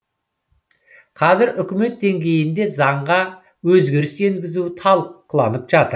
қазір үкімет деңгейінде заңға өзгеріс енгізу талқыланып жатыр